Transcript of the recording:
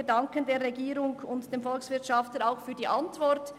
Wir danken der Regierung und dem Volkswirtschaftsdirektor für die Antwort.